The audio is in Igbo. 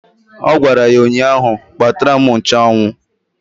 Ọ gwara ya ụnyaahụ "Kpatara m nchụanwụ"!